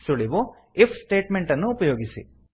ಸುಳಿವು160 if statement ಅನ್ನು ಉಪಯೋಗಿಸಿ